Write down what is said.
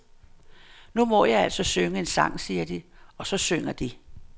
Nu må jeg altså synge en sang, siger de, og så synger de.